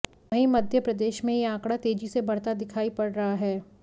वहीं मध्य प्रदेश में यह आंकड़ा तेजी से बढ़ता दिखाई पड़ रहा है